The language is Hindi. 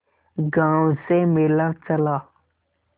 गांव से मेला चला